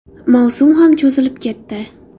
Mavsum ham cho‘zilib ketdi.